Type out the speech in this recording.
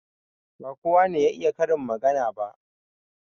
Ba kowa ne ya iya karin magana ba.